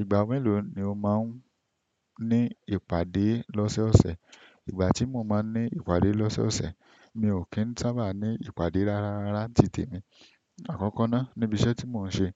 Ìgbà melo ni o máa ń ní ìpàdé lọ́sẹ̀ ọ̀sẹ̀? Ìgbà ti mo maa n ni ìpàdé ni ose ose, mi o ki n saaba ni ìpàdé rara rara ni temi. Àkọ́kọ́ ná, níbi iṣẹ́ tí mò ń ṣe,